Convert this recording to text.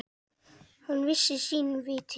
Hann vissi sínu viti.